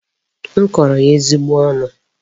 M kọrọ ya ezigbo ọnụ.